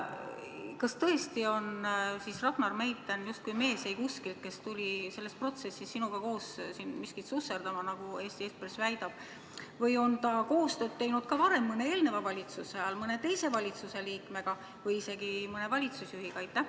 Kas tõesti on Ragnar Meitern justkui mees eikuskilt, kes tuli selles protsessis sinuga koos siin miskit susserdama, nagu Eesti Ekspress väidab, või on ta koostööd teinud ka varem, mõne eelmise valitsuse ajal mõne teise valitsusliikmega või isegi mõne valitsusjuhiga?